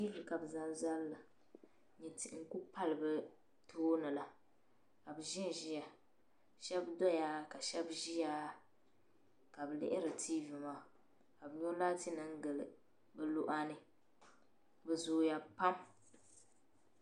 Ti vi. kabi. zaŋ. zalila n nyɛ tihi ku pali. bi tooni la. kabi. zinziya. shab. doya, ka shab ziya kabi lihiri. t v maa n. nyɔ. laati nim. gili bi luɣa ni. bi zooya pam